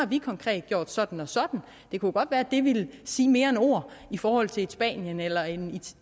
vi konkret har gjort sådan og sådan det kunne godt være at det ville sige mere end ord i forhold til et spanien eller et